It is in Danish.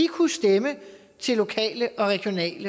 kunne stemme til lokale og regionale